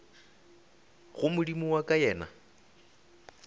go modimo wa ka yena